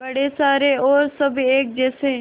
बड़े सारे और सब एक जैसे